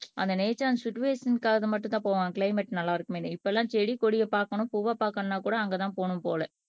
அந்த நேச்சர் சிட்டுஅஸின்க்காக மட்டும்தான் போவான் கிளைமேட் நல்லா இருக்குமேன்னு இப்பெல்லாம் செடி கொடியை பார்க்கணும் பூவை பார்க்கணும்ன்னா கூட அங்கதான் போணும் போல